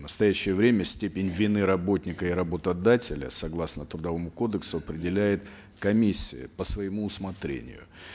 в настоящее время степень вины работника и работодателя согласно трудовому кодексу определяет комиссия по своему усмотрению